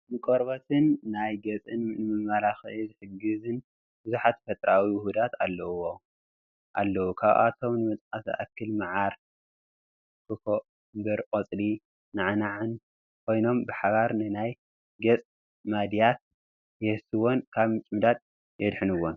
ንቆርበት ናይ ገፅን ንመመላኽዒ ዝሕግዙን ብዙሓት ተፈጥሮኣዊ ውሁዳት ኣለው፡፡ ካብኣቶም ንምጥቃስ ዝኣክል ማዓር፣ ኩኮምበርን ቆፅሊ ናዕናዕን ኮይኖም ብሓባር ንናይ ገፅ ማድያት የህስስዎን ካብ ምጭምዳድ የድሕኑዎን፡፡